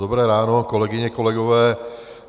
Dobré ráno kolegyně, kolegové.